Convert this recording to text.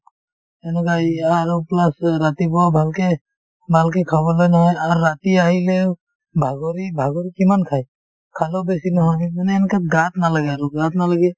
সেনেকুৱাই আৰু plus ৰাতিপুৱাও ভালকে ভালকে খাবলৈ নাই আৰ্ ৰাতি আহিলেও ভাগৰি ভাগৰি কিমান খাই খালেও বেছি নহয় মানে এনেকুৱা গাত নালাগে আৰু গাত নালগে